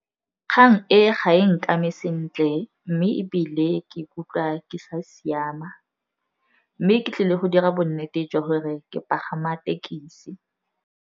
Kgang e ga e nkame sentle, mme ebile ke ikutlwa ke sa siama. Mme ke tlile go dira bonnete jwa gore ke pagama thekisi.